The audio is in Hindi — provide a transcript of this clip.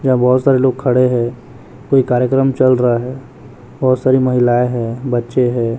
यहाँ बहोत सारे लोग खड़े है कोई कार्यक्रम चल रहा है बहोत सारी महिलाएं हैं बच्चे हैं।